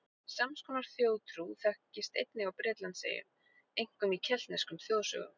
Sams konar þjóðtrú þekkist einnig á Bretlandseyjum, einkum í keltneskum þjóðsögum.